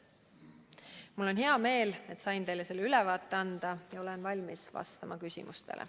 Mul on hea meel, et sain teile selle ülevaate anda, ja olen valmis vastama küsimustele.